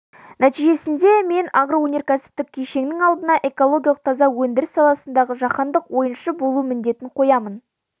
нәтижесінде мен агроөнеркәсіптік кешеннің алдына экологиялық таза өндіріс саласындағы жаһандық ойыншы болу міндетін қоямын